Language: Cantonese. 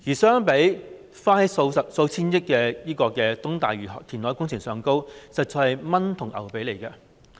相比要花數千億元的東大嶼山填海工程，那數項政策實在是"蚊髀同牛髀"。